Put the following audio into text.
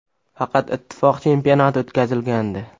Faqat Ittifoq chempionati o‘tkazilgandi.